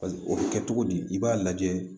o bɛ kɛ cogo di i b'a lajɛ